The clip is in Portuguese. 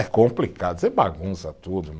É complicado, você bagunça tudo.